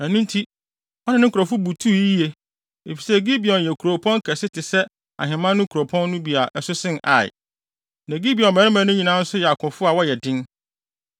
Ɛno nti, ɔne ne nkurɔfo bo tuu yiye, efisɛ Gibeon yɛ kuropɔn kɛse te sɛ ahemman no nkuropɔn no bi a ɛso sen Ai. Na Gibeon mmarima no nyinaa nso yɛ akofo a wɔyɛ den.